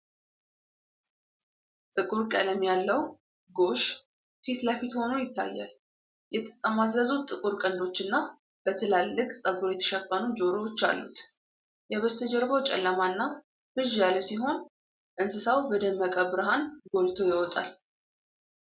ጥቁር ቀለም ያለው ጎሽ ፊት ለፊት ሆኖ ይታያል። የተጠማዘዙ ጥቁር ቀንዶችና በትላልቅ ፀጉር የተሸፈኑ ጆሮዎች አሉት። የበስተጀርባው ጨለማና ብዥ ያለ ሲሆን፤ እንስሳው በደመቀ ብርሃን ጎልቶ ይወጣል።